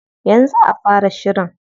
Yanzu za a fara shirin.